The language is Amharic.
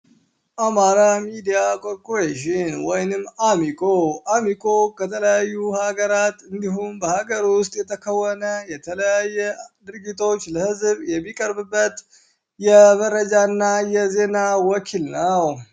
አማራ ሚዲያ ኮርፖሬሽን ወይንም አ.ሚ.ኮ፤ አ.ሚ.ኮ ከተለያዩ ሃገራት እንዲሁም በሃገር ውስጥ የተከወነ የተለያየ ድርጊቶች ለህዝብ የሚቀርብበት የመረጃ እና የዜና ወኪል ነው።